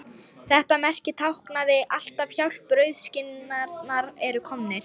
Þetta merki táknaði alltaf: Hjálp, rauðskinnarnir eru komnir